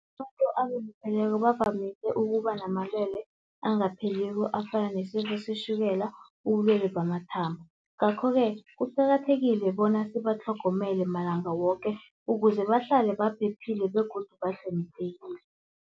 Abantu abalupheleko bavamise ukuba namalwele angapheliko afana nesifo setjhukela, ubulwele bamathambo. Ngakho-ke kuqakathekile bona sibatlhogomele malanga woke, ukuze bahlale baphephile begodu bahloniphekile.